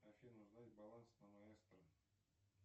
афина узнать баланс на маэстро